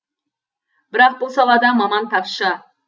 бірақ бұл салада маман тапшы